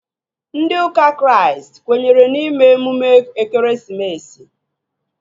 Ndị ụka Kraịst kwenyere na ime emume ekeresimesi